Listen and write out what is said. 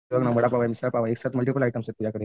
वडापाव आहे मिसळपाव आहे तुझ्याकडे